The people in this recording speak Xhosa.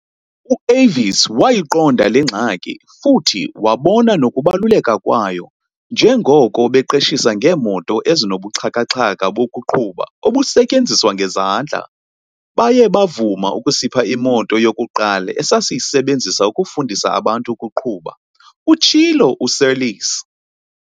"U-Avis wayiqonda le ngxaki, futhi wabona nokubaluleka kwayo njengoko beqeshisa ngeemoto ezinobuxhaka-xhaka bokuqhuba obusetyenziswa ngezandla. Baye bavuma ukusipha imoto yokuqala esasiyisebenzisa ukufundisa abantu ukuqhuba," utshilo uSeirlis.